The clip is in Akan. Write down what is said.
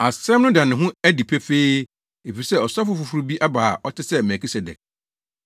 Asɛm no da ne ho adi pefee, efisɛ ɔsɔfo foforo bi aba a ɔte sɛ Melkisedek.